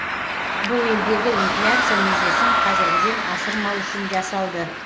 бұл елдегі инфляция межесін қазіргіден асырмау үшін жасалды